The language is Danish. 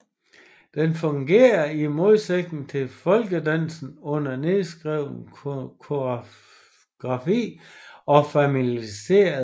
Den fungerer i modsætning til folkedansen uden nedskreven koreografi og formaliserede ritualer